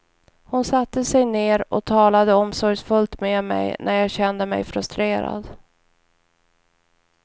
Hon satte sig ned och talade omsorgsfullt med mig när jag kände mig frustrerad.